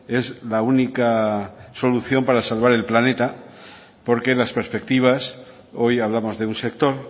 es la única solución para salvar el planeta porque las perspectivas hoy hablamos de un sector